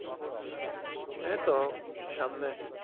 এই তো সামনে।